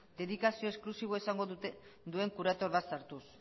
dedikazio esklusibo esango duen curator bat sartuz